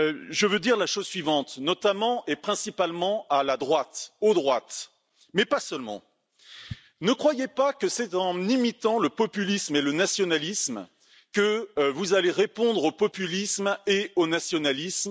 Je tiens à dire la chose suivante, notamment et principalement à la droite, aux droites, mais pas seulement ne croyez pas que c'est en imitant le populisme et le nationalisme que vous allez répondre au populisme et au nationalisme.